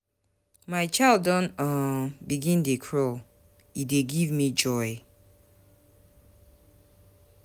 My child don um begin dey crawl, e dey give me joy.